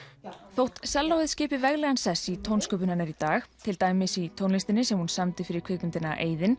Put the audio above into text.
þótt skipi veglegan sess í tónsköpun hennar í dag til dæmis í tónlistinni sem hún samdi fyrir kvikmyndina